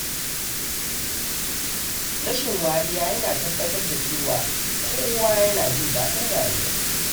Rashin wariya yana tabbatar da cewa kowa yana jin daɗin rayuwa.